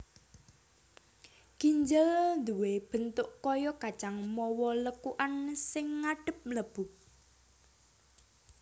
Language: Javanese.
Ginjel duwé bentuk kaya kacang mawa lekukan sing ngadhep mlebu